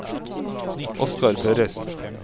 Oskar Børresen